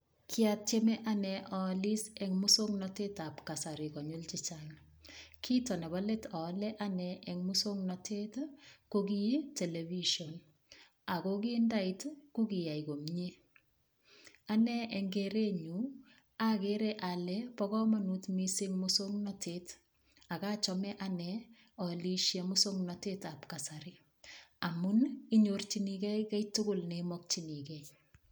Kiatieme ane oolis eng' muswong'natetab kasari konyil chechang' kito nebo let oole ane eng' muswong'natet ko kii television ako kindait kokiyai komye ane eng' kerenyu akere ale bo komonut mising' muswong'natet akachome ane oolishe muswong'natetab kasari amun inyorchinigei kei tugul nemokchinigei